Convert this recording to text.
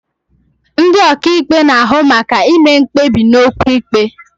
Ndị ọkàikpe na-ahụ maka ime mkpebi n'okwu ikpe.